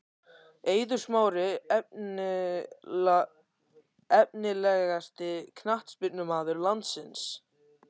Eiður Smári Efnilegasti knattspyrnumaður landsins?????????